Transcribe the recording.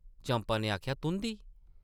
चंपा नै आखेआ, ‘‘तुंʼदी ।’’